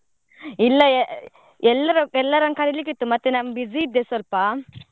ಇಲ್ಲ ಎಲ್ಲರೂ, ಎಲ್ಲರನ್ನು ಕರೀಲಿಕ್ಕೆ ಇತ್ತು. ಮತ್ತೆ ನಾನ್ busy ಇದ್ದೆ ಸ್ವಲ್ಪ.